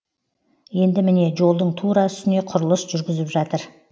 енді міне жолдың тура үстіне құрылыс жүргізіп жатыр